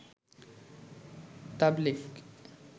তাবলিগ